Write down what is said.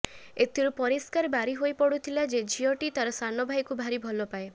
ଏଥିରୁ ପରିଷ୍କାର ବାରି ହୋଇ ପଡୁଥିଲା ଯେ ଝିଅଟି ତାର ସାନଭାଇକୁ ଭାରି ଭଲ ପାଏ